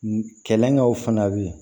Kɛlɛkɛw fana be yen